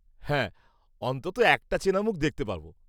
-হ্যাঁ, অন্তত একটা চেনা মুখ দেখতে পাবো।